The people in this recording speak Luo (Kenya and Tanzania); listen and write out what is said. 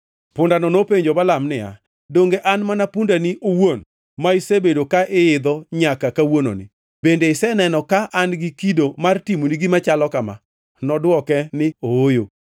Pundano nopenjo Balaam niya, “Donge an mana pundani owuon, ma isebedo ka iidho, nyaka kawuononi? Bende iseneno ka an gi kido mar timoni gima chalo kama?” Nodwoke niya, “Ooyo.”